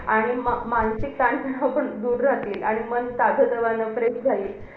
आणि मा~ मानसिक ताण पासून दूर राहतील. आणि मन ताजतवानं fresh राहील.